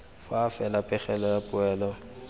fa fela pegelo ya poelo